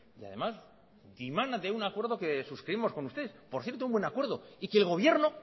y además emana de un acuerdo que suscribimos con usted por cierto un buen acuerdo y que